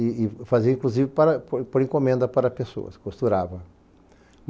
E e fazia, inclusive, para por por encomenda para pessoas, costurava.